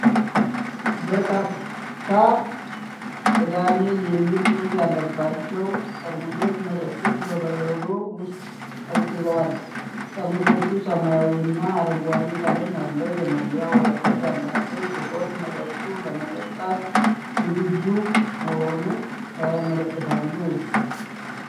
በርካታ "ቅዳሜ" የሚል ጽሑፍ ያለባቸው ጠርሙሶች መጠጦች በበረዶ ውስጥ ቀዝቅዘዋል። ጠርሙሶቹ ሰማያዊና አረንጓዴ ቀለም ያለው የመለያ ወረቀት ያላቸው ሲሆን መጠጡ ለመጠጣት ዝግጁ መሆኑን ያመለክታሉ።